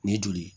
Ni joli ye